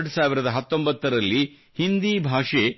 2019 ರಲ್ಲಿ ಹಿಂದೀ ಭಾಷೆಯು